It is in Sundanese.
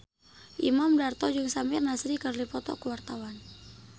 Imam Darto jeung Samir Nasri keur dipoto ku wartawan